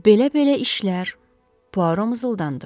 Belə-belə işlər, Puaro mızıldandı.